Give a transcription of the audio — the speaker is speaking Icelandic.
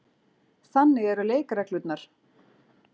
Þannig eru leikreglurnar.